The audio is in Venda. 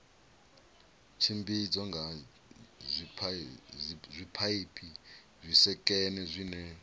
tshimbidzwa nga zwipaipi zwisekene zwine